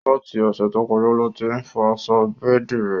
Láti Òsẹ̀ to kọjá lo tí fọ aṣọ bẹ́ẹ̀di rẹ̀